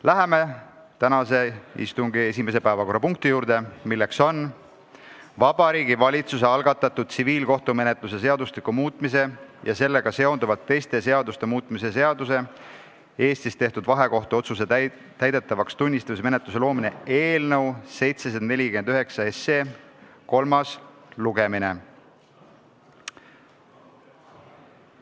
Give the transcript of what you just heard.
Läheme tänase istungi esimese päevakorrapunkti juurde, milleks on Vabariigi Valitsuse algatatud tsiviilkohtumenetluse seadustiku muutmise ja sellega seonduvalt teiste seaduste muutmise seaduse eelnõu kolmas lugemine.